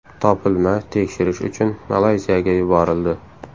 Topilma tekshirish uchun Malayziyaga yuborildi.